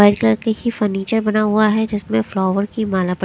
white colour की ही furniture बना हुआ है जिसमें फ्लावर की माला बन--